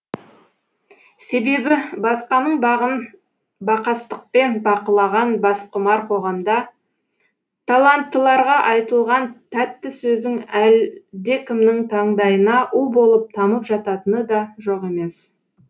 себебі басқаның бағын бақастықпен бақылаған басқұмар қоғамда таланыттыларға айтылған тәтті сөзің әлде кімнің таңдайына у болып тамып жататыны да жоқ емес